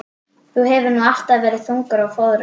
Þú hefur nú alltaf verið þungur á fóðrum.